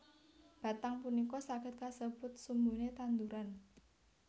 Batang punika saged kasebut sumbune tanduran